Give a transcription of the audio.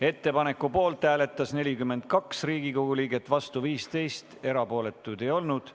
Ettepaneku poolt hääletas 42 Riigikogu liiget, vastu oli 15, erapooletuid ei olnud.